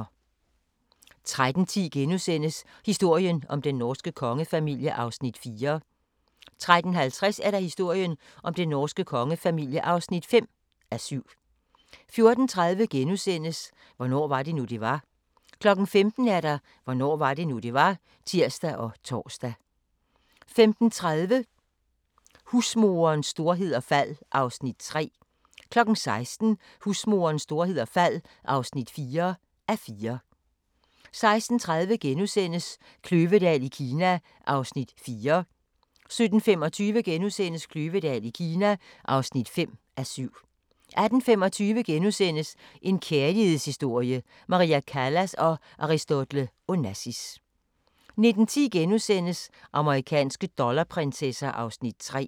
13:10: Historien om den norske kongefamilie (4:7)* 13:50: Historien om den norske kongefamilie (5:7) 14:30: Hvornår var det nu, det var? * 15:00: Hvornår var det nu, det var? (tir og tor) 15:30: Husmorens storhed og fald (3:4) 16:00: Husmorens storhed og fald (4:4) 16:30: Kløvedal i Kina (4:7)* 17:25: Kløvedal i Kina (5:7)* 18:25: En kærlighedshistorie – Maria Callas & Aristotle Onassis * 19:10: Amerikanske dollarprinsesser (3:4)*